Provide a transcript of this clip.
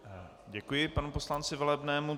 Děkuji panu poslanci Velebnému.